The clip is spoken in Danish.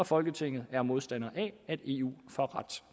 folketinget er modstander af at eu får ret